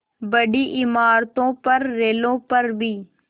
बड़ी इमारतों पर रेलों पर भी